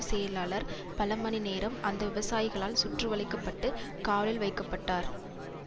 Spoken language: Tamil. செயலாளர் பல மணிநேரம் அந்த விவசாயிகளால் சுற்றி வளைக்க பட்டு காவலில் வைக்க பட்டார்